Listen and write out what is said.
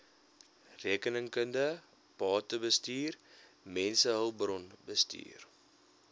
rekeningkunde batebestuur mensehulpbronbestuur